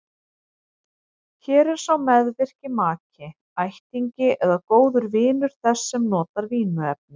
Hér er sá meðvirki maki, ættingi eða góður vinur þess sem misnotar vímuefnin.